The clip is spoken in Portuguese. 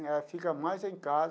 Ela fica mais em casa.